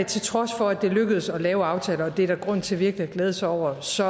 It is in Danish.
til trods for at det lykkedes at lave aftaler og det er der grund til virkelig at glæde sig over så